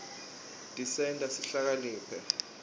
tisenta sihlakaniphe